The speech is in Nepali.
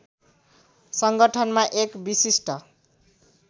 सङ्गठनमा एक विशिष्ट